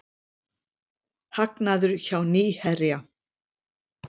Hagnaður hjá Nýherja